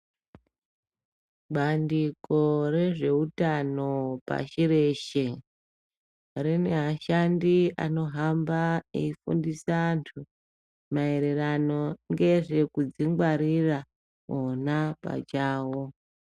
Bandiko rezvehutano pashi reshe rine ashandi anohamba eifundisa antu maererano nezvekuzvingwarira ona pachawo.